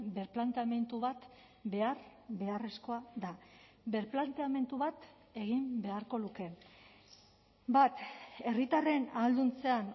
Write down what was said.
birplanteamendu bat behar beharrezkoa da birplanteamendu bat egin beharko luke bat herritarren ahalduntzean